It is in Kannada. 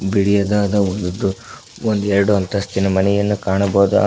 ಬಿಳಿಯದಾದ ಒಂದು ದೋ ಒಂದು ಎರಡು ಅಂತಸ್ತಿನ ಮನೆಯನ್ನು ಕಾಣಬಹುದು ಆ--